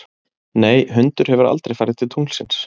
Nei, hundur hefur aldrei farið til tunglsins.